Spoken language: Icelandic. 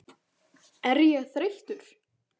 Er ég þreyttur?